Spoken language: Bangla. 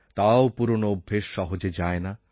তাও পুরনো অভ্যাস সহজে যায় না